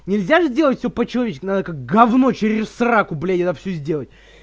нельзя ведь делать все по человечески надо как говно через сраку блин я все сделаю